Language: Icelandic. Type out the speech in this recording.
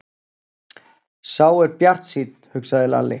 Sá er bjartsýnn, hugsaði Lalli.